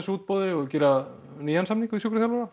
útboði og gera nýjan samning við sjúkraþjálfara